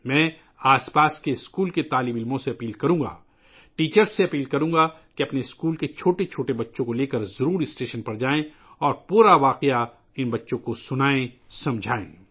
میں آس پاس کے اسکولوں کے طلباء سے گزارش کروں گا، اساتذہ سے گزارش کروں گا کہ وہ اپنے اسکول کے چھوٹے بچوں کو اسٹیشن لے جائیں اور ان بچوں کو سارا واقعہ سنائیں اور سمجھائیں